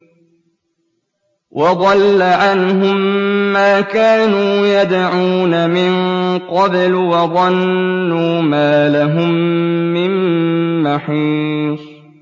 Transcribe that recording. وَضَلَّ عَنْهُم مَّا كَانُوا يَدْعُونَ مِن قَبْلُ ۖ وَظَنُّوا مَا لَهُم مِّن مَّحِيصٍ